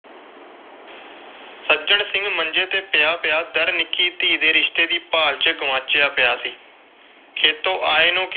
ਸੱਜਣ ਸਿੰਘ ਮੰਜੇ ਤੇ ਪਿਆ ਪਿਆ ਨਿੱਕੀ ਧੀ ਦੇ ਰਿਸ਼ਤੇ ਦੀ ਭਾਲ ਵਿਚ ਗੁਆਚਿਆ ਪਿਆ ਸੀ। ਖੇਤੋਂ ਆਏ ਨੂੰ